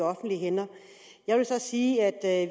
offentlige hænder jeg vil så sige at